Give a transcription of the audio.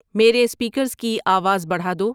میرے اسپیکرز کی آواز بڑھا دو